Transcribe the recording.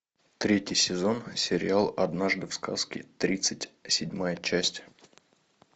третий сезон сериал однажды в сказке тридцать седьмая часть